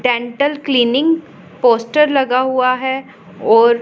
dental cleaning poster लगा हुआ है और--